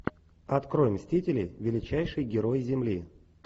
открой мстители величайшие герои земли